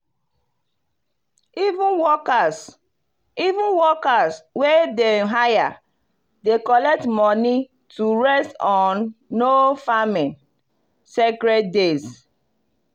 even workers even workers wey dem hire dey collect money to rest on no-farming sacred days.